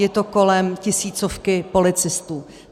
Je to kolem tisícovky policistů.